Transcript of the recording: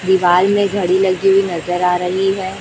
दीवाल में घड़ी लगी हुई नजर आ रही हैं।